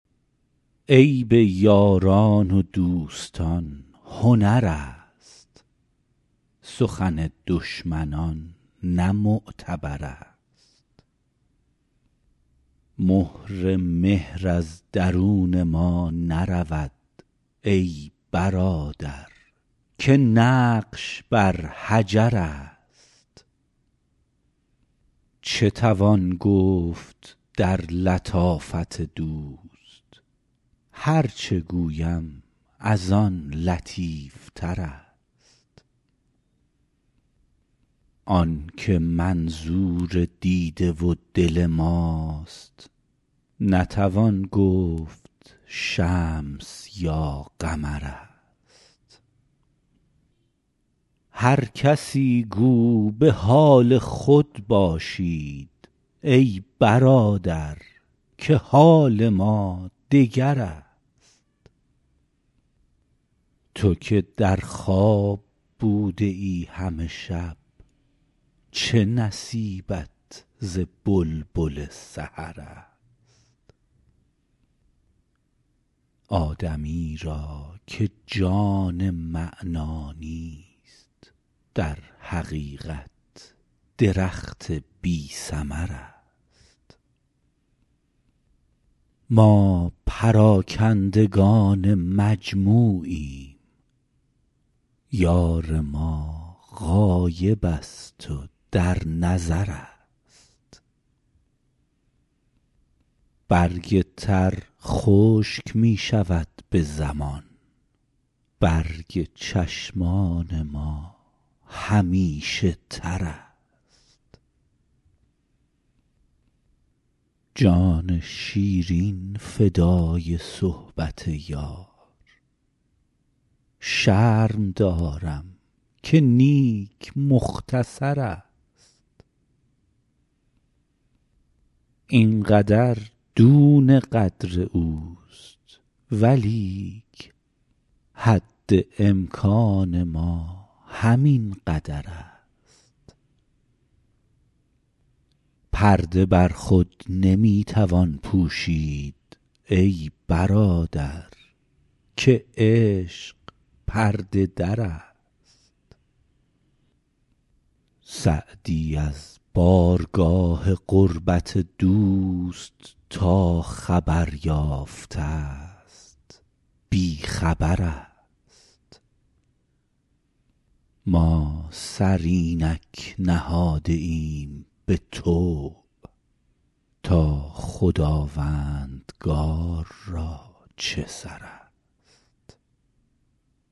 عیب یاران و دوستان هنر است سخن دشمنان نه معتبر است مهر مهر از درون ما نرود ای برادر که نقش بر حجر است چه توان گفت در لطافت دوست هر چه گویم از آن لطیف تر است آن که منظور دیده و دل ماست نتوان گفت شمس یا قمر است هر کسی گو به حال خود باشید ای برادر که حال ما دگر است تو که در خواب بوده ای همه شب چه نصیبت ز بلبل سحر است آدمی را که جان معنی نیست در حقیقت درخت بی ثمر است ما پراکندگان مجموعیم یار ما غایب است و در نظر است برگ تر خشک می شود به زمان برگ چشمان ما همیشه تر است جان شیرین فدای صحبت یار شرم دارم که نیک مختصر است این قدر دون قدر اوست ولیک حد امکان ما همین قدر است پرده بر خود نمی توان پوشید ای برادر که عشق پرده در است سعدی از بارگاه قربت دوست تا خبر یافته ست بی خبر است ما سر اینک نهاده ایم به طوع تا خداوندگار را چه سر است